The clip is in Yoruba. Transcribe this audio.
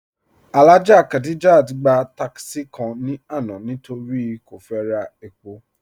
Alhaja Khadijat gba tákísí kàn ni àná nítorí́ kò fẹ́ rà èpò.